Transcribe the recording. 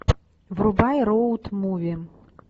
врубай роуд муви